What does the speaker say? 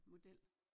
Model